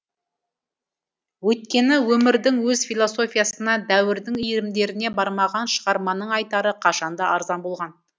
өйткені өмірдің өз философиясына дәуірдің иірімдеріне бармаған шығарманың айтары қашанда арзан болған